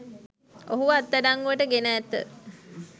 ඔහුව අත්අඩංගුවට ගෙන ඇත